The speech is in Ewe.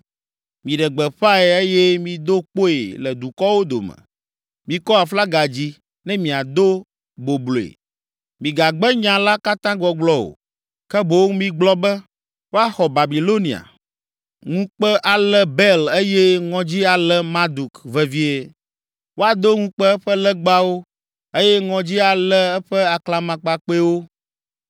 “Miɖe gbeƒãe eye mido kpoe le dukɔwo dome, mikɔ aflaga dzi, ne miado bobloe; migagbe nya la katã gbɔgblɔ o, ke boŋ migblɔ be, ‘Woaxɔ Babilonia, ŋukpe alé Bel eye ŋɔdzi alé Marduk vevie. Woado ŋukpe eƒe legbawo eye ŋɔdzi alé eƒe aklamakpakpɛwo.’